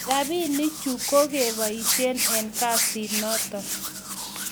rapinik chu ko kigebaishen eng kasit noton